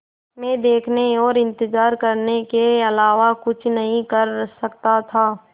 मैं देखने और इन्तज़ार करने के अलावा कुछ नहीं कर सकता था